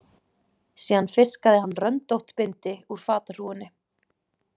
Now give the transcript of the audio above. Síðan fiskaði hann röndótt bindi úr fatahrúgunni.